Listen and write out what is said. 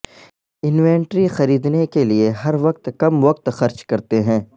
inventory خریدنے کے لئے ہر وقت کم وقت خرچ کرتے ہیں